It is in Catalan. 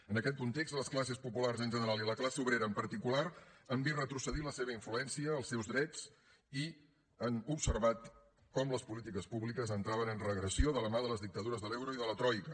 en aquest context les classes populars en general i la classe obrera en particular han vist retrocedir la seva influència els seus drets i han observat com les polítiques públiques entraven en regressió de la mà de les dictadures de l’euro i de la troica